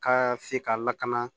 Ka se ka lakana